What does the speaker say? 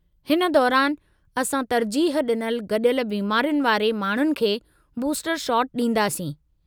हिन दौरानि असां तरजीह ॾिनल गॾियल बिमारियुनि वारे माण्हुनि खे बूस्टर शॉट ॾींदासीं।